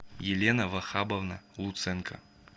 елена вахабовна луценко